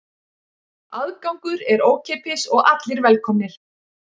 Aðgangur er ókeypis og allir velkomnir